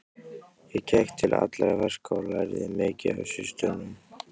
Ég gekk til allra verka og lærði mikið af systrunum.